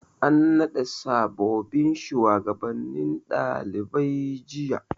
An naɗa sabobbin shugabannin ɗalibai jiya.